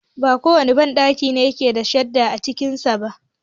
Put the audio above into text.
ba kowane banɗaki ne yake da shadda a cikinsa ba.